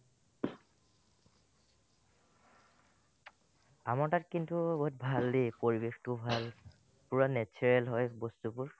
আমাৰ তাত কিন্তু বহুত ভাল দে পৰিবেশতো ভাল পূৰা natural হয় বস্তুবোৰ